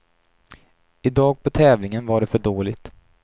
Idag på tävlingen var det för dåligt.